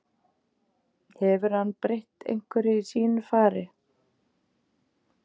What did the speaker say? Hefur hann breytt einhverju í sínu fari?